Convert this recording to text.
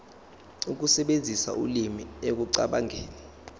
ukusebenzisa ulimi ekucabangeni